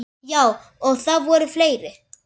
Já, og það voru fleiri.